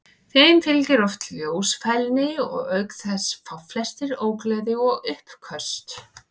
Þeim fylgir oft ljósfælni og auk þess fá flestir ógleði og uppköst.